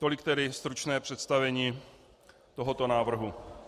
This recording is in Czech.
Tolik tedy stručné představení tohoto návrhu.